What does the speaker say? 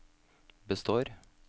består